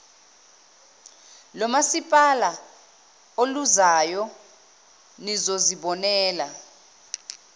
lomasipala oluzayo nizozibonela